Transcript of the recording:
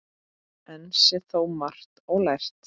Enn sé þó margt ólært.